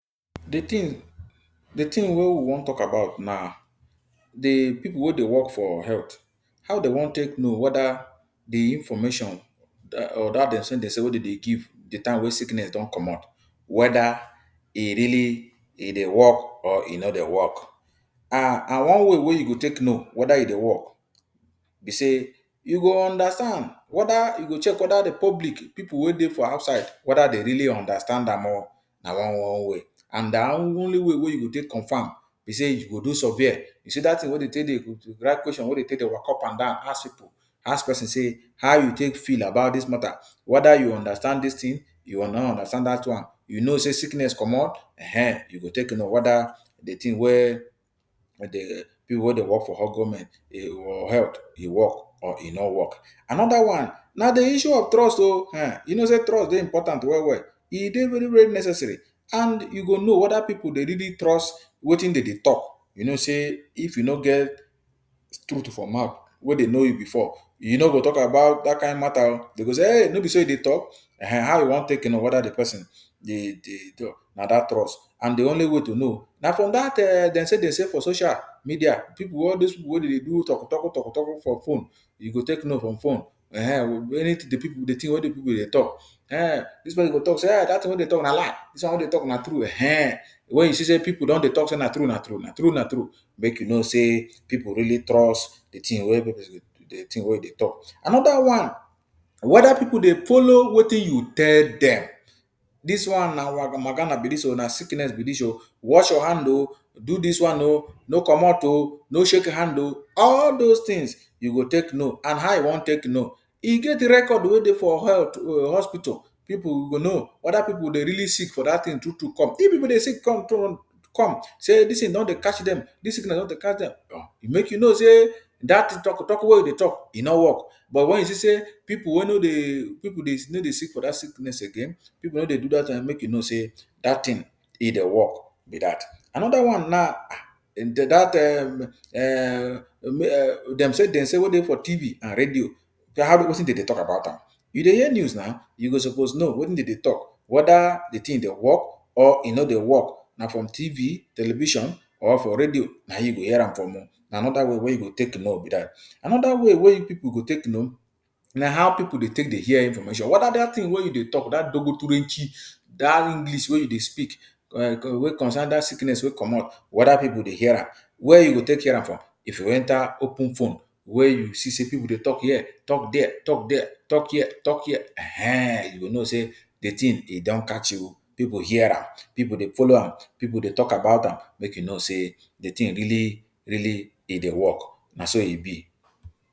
De thing de thing wey we wan talk about na de pipu wey dey work for health. How dem wan take know whether de information or dat dem say-dem say wey dem dey give de time wey sickness don comot, whether e really e dey work or e no dey work. um And one way wey you go take know whether e dey work be sey, you go understand wether you go check whether the public, pipu wey dey for outside, whether de really understand am o! Na one one way. And only way wey you go take confam be sey, you go do survey, you see dat thing wey de take dey write question wey de take dey waka up and down, ask pipu ask pesin sey ‘How you take feel bout dis mata?’ Whether you understand dis thing? You no understand that one? You know sey sickness comot? um, you go take know whether the thing wey um pipu wey dey work for for health, e work or e no work. Another one, na de issue of trust o! Henn! You know sey trust dey important well-well. E dey very-very necessary and you go know wether pipu dey really trust wetin de dey talk. You know sey if you no get truth for mouth wey de know you before, you no go talk about that kind mata o. De go say ‘Eei! No be so you dey talk?’ um, how you wan take know whether de pesin dey dey? Na dat trust. And de only way to know na from dat um dem say-dem say for social media. Pipu wey all those pipu wey dey do talku-talku talku-talku for phone, e go take know from phone. Ehen, anything de pipu de thing wey de pipu dey talk. um Dis pesin go talk sey dat thing wey you dey talk na lie, dis one wey you dey talk na true. Ehen, when you see sey pipu don dey talk say na true-na true na true-na true, make you know sey pipu really trust de thing wey de thing wey e dey talk. Another one. Whether people dey follow wetin you tell dem. Dis one na be dis o, na sickness be dis o, wash your hand o, do dis one o, no comot o, no shake hand o. All dose things you go take know. And how you wan take know? E get record wey dey for health um hospital, pipu go know whether pipu dey really sick for dat thing true-true come. If pipu dey sick come come sey dis thing don dey catch dem, dis sickness don dey catch dem, make you know sey that talku-talku wey we dey talk, e no work. But when you see sey pipu wey no dey um pipu dey no dey sick for dat sickness again, pipu no dey do dat, make you know sey that thing e dey work be that. Another one na, ah, dat um um um dem say-dem say wey dey for TV and radio na how wetin dem dey talk about am? You dey hear de news now? You go suppose know wetin dem dey talk whether de thing dey work or e no dey work. Na from TV television or for radio naim you go hear from am o. Na another way to take know am be dat. Another way wey pipu go take know, na how pipu dey take dey hear information whether dat thing wey you dey talk dat dat English wey you dey speak um wey concern dat sickness wey comot, whether pipu dey hear am. Where you go take hear am from? If you enter open phone, wey you see sey pipu dey talk here talk there talk there talk here talk here, ehen, you go know sey de thing e don catch pipu hear am. Pipu dey follow am, pipu dey talk about am, make you know sey de thing really really e dey work. Na so e be!